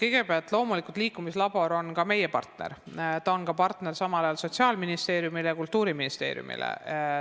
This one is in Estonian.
Kõigepealt, loomulikult on liikumislabor meie partner, ta on samal ajal ka Sotsiaalministeeriumi ja Kultuuriministeeriumi partner.